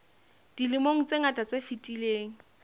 dilemong tse ngata tse fetileng